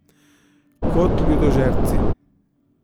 Kot ljudožerci.